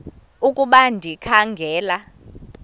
ukuba ndikha ngela